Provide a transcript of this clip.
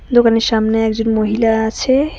দোকানের সামনে একজন মহিলা আছে।